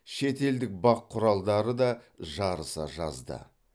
шетелдік бақ құралдары да жарыса жазды